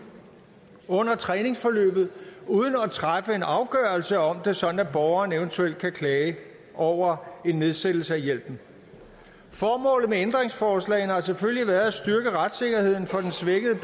under træningsforløb uden at træffe en afgørelse om det sådan at borgeren eventuelt kan klage over en nedsættelse af hjælpen formålet med ændringsforslagene har selvfølgelig været at styrke retssikkerheden for den svækkede